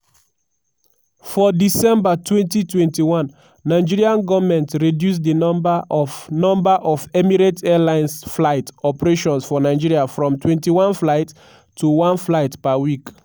for december 2021 nigerian goment reduce di number of number of emirates airlines flight operations for nigeria from 21 flights to one flight per week.